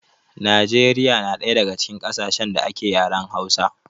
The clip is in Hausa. Najeriya na ɗaya daga cikin ƙasashen da ake yaren hausa